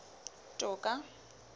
toka